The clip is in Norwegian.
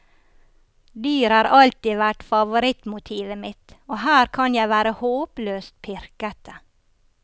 Dyr har alltid vært favorittmotivet mitt og her kan jeg være håpløst pirkete.